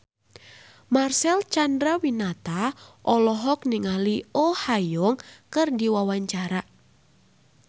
Marcel Chandrawinata olohok ningali Oh Ha Young keur diwawancara